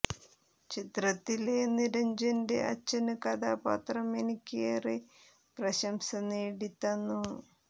ചിത്രത്തില് നിരഞ്ജന്റെ അച്ഛന് കഥാപാത്രം എനിക്ക് ഏറെ പ്രശംസ നേടി തന്നു